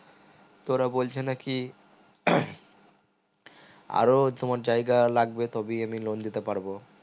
তো ওরা বলছে নাকি আরো তোমার জায়গা লাগবে তবেই আমি loan দিতে পারবো